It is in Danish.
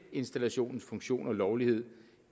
elinstallationernes funktion og lovlighed